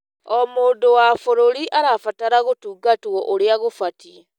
O mũndũ wa bũrũri arabatara gũtungatwo ũrĩa gũbatiĩ.